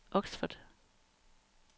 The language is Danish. Oxford